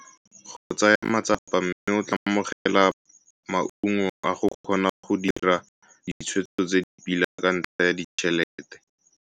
Go tsaya matsapa mme o tla amogela maungo a go kgona go dira ditshwetso tse di pila ka ntlha ya ditšhelete.